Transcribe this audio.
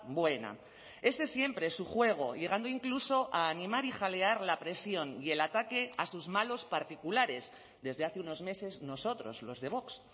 buena ese siempre es su juego llegando incluso a animar y jalear la presión y el ataque a sus malos particulares desde hace unos meses nosotros los de vox